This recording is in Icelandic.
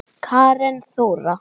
Karen Þóra.